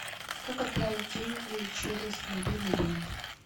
как отправить деньги через мобильный банк